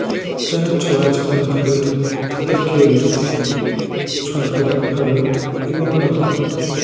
যারা যারা চোরাচালানকারী তাদেরকে রুখতে সরকারি ভাবে বিভিন্ন রকম